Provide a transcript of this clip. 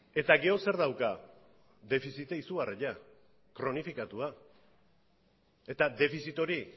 eta gero zer dauka defizita izugarria kronifikatua eta defizit hori